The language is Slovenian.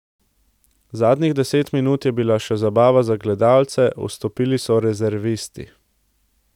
Zadnjih deset minut je bila le še zabava za gledalce, vstopili so rezervisti.